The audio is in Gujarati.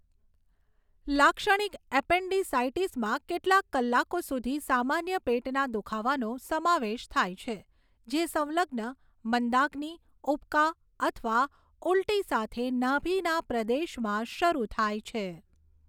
લાક્ષણિક એપેન્ડિસાઈટિસમાં કેટલાક કલાકો સુધી સામાન્ય પેટના દુખાવાનો સમાવેશ થાય છે જે સંલગ્ન મંદાગ્નિ, ઉબકા અથવા ઉલટી સાથે નાભિના પ્રદેશમાં શરૂ થાય છે.